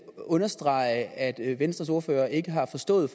understrege at venstres ordfører ikke har forstået